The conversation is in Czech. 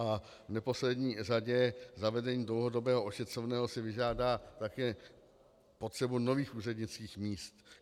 A v neposlední řadě zavedení dlouhodobého ošetřovného si vyžádá také potřebu nových úřednických míst.